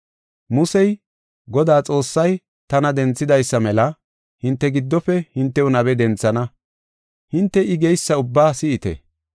Musey, ‘Godaa Xoossay tana denthidaysa mela hinte giddofe hintew nabe denthana. Hinte I geysa ubbaa si7ite.